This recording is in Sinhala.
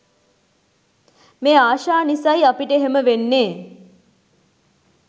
මේ ආශා නිසයි අපට එහෙම වෙන්නේ.